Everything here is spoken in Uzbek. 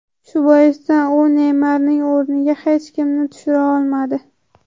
Shu boisdan u Neymarning o‘rniga hech kimni tushira olmadi.